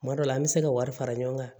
Kuma dɔ la an bɛ se ka wari fara ɲɔgɔn kan